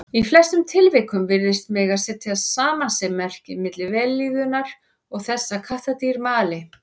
Í flestum tilvikum virðist mega setja samasemmerki milli vellíðunar og þess að kattardýr mali.